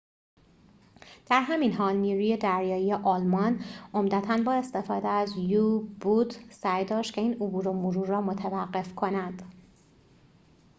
در همین حال نیروی دریایی آلمان عمدتاً با استفاده از یو-بوت سعی داشت که این عبور و مرور را متوقف کند